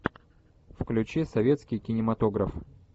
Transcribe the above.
включи советский кинематограф